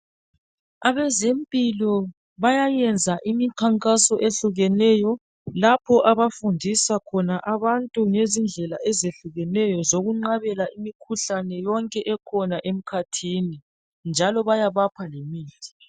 Abezempilo bayayenza imikhankaso ehlukeneyo .Lapho abafundisa khona abantu ngezindlela ezehlukeneyo zokunqabela imikhuhlane yonke ekhona emkhathini .Njalo bayabapha lemithi .